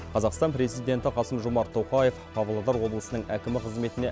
қазақстан президенті қасым жомарт тоқеав павлодар облысының әкімі қызметіне